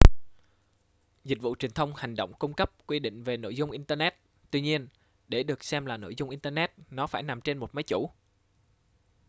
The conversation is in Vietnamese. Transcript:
dịch vụ truyền thông hành động cung cấp quy định về nội dung internet tuy nhiên để được xem là nội dung internet nó phải nằm trên một máy chủ